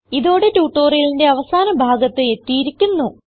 ഇതോടെ ട്യൂട്ടോറിയലിന്റെ അവസാന ഭാഗത്ത് എത്തിയിരിക്കുന്നു